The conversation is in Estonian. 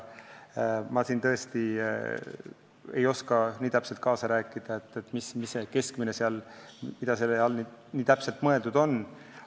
Ma tõesti ei oska kaasa rääkida, mida selle keskmise all täpselt mõeldud on.